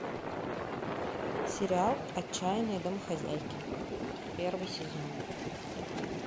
сериал отчаянные домохозяйки первый сезон